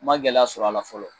N ma gɛlɛya sɔr'a la fɔlɔ